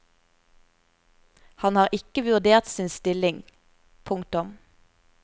Han har ikke vurdert sin stilling. punktum